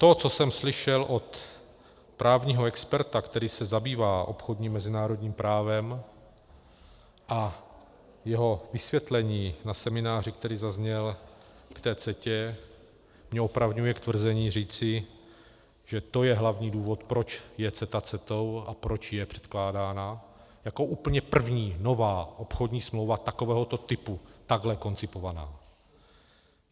To, co jsem slyšel od právního experta, který se zabývá obchodním mezinárodním právem, a jeho vysvětlení na semináři, které zaznělo k CETA, mě opravňuje k tvrzení říci, že to je hlavní důvod, proč je CETA Cetou a proč je předkládána jako úplně první nová obchodní smlouva takovéhoto typu takhle koncipovaná.